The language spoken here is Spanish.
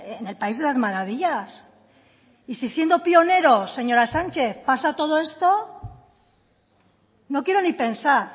en el país de las maravillas y si siendo pioneros señora sánchez pasa todo esto no quiero ni pensar